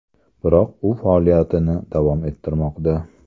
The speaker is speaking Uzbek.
Biroq u faoliyatini davom ettirmoqda.